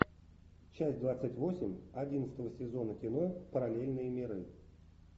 часть двадцать восемь одиннадцатого сезона кино параллельные миры